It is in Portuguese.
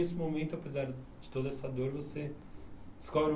E esse momento, apesar de de toda essa dor, você descobre